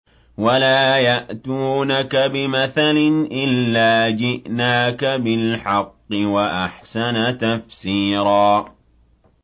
وَلَا يَأْتُونَكَ بِمَثَلٍ إِلَّا جِئْنَاكَ بِالْحَقِّ وَأَحْسَنَ تَفْسِيرًا